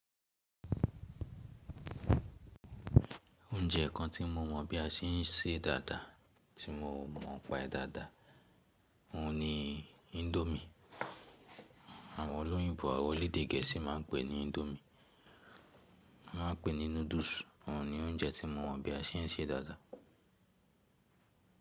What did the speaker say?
Ojẹ kan tí mo mọ̀ bí a ṣe ń ṣe dáadáa tí mo ò mọ̀ ọ́n pa e dáadáa, mo ni indomie. Àwọn olóyìnbo àwọn elẹ̀èdè Gẹ̀ẹ́sì máa ń pè ní indomie. Wọ́n máa pè ní noodles. Òhun ni oúnjẹ tí mo mọ̀ bí a ṣe ń ṣe dáadáa.